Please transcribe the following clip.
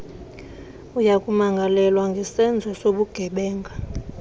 uyakumangalelwa ngesenzo sobugebenga